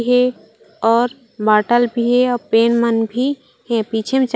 हे और बॉटल भी हे और पेन मन भी हे पीछे में चार--